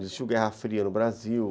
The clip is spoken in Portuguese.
Não existiu Guerra Fria no Brasil.